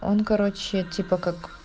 он короче типа как